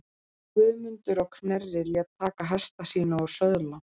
Guðmundur á Knerri lét taka hesta sína og söðla.